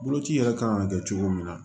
Boloci yɛrɛ kan ka kɛ cogo min na